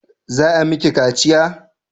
Za a miki kaciya?